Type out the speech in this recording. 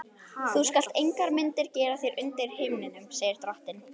Þú skalt engar myndir gera þér undir himninum, segir drottinn.